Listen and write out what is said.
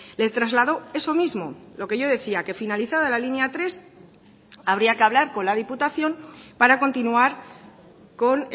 les trasladó eso mismo lo que yo decía que finalizada la línea tres habría que hablar con la diputación para continuar con